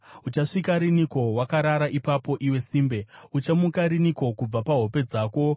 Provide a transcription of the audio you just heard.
Uchasvika riniko wakarara ipapo, iwe simbe? Uchamuka riniko kubva pahope dzako?